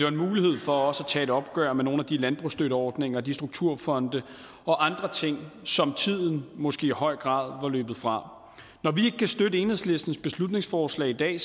en mulighed for også at tage et opgør med nogle af de landbrugsstøtteordninger og de strukturfonde og andre ting som tiden måske i høj grad var løbet fra når vi ikke kan støtte enhedslistens beslutningsforslag i dag